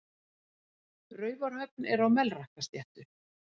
Raufarhöfn er á Melrakkasléttu.